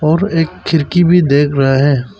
और एक खिड़की भी देख रहें है।